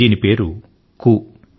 దీని పేరు కూ క్ ఊ కూ